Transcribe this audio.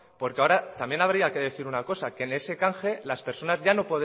porque ahora también habría que decir una cosa que en ese canje las personas